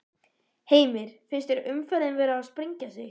Heimir: Finnst þér umferðin vera að sprengja sig?